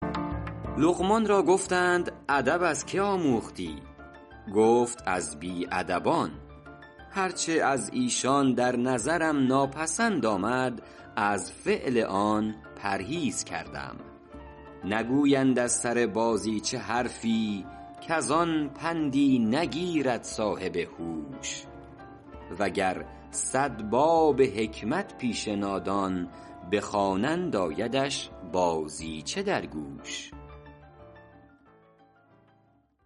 لقمان را گفتند ادب از که آموختی گفت از بی ادبان هر چه از ایشان در نظرم ناپسند آمد از فعل آن پرهیز کردم نگویند از سر بازیچه حرفی کز آن پندی نگیرد صاحب هوش و گر صد باب حکمت پیش نادان بخوانند آیدش بازیچه در گوش